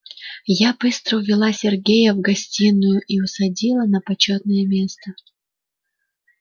я быстро увела сергея в гостиную и усадила на почётное место